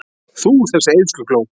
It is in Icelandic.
Þú, þessi eyðslukló!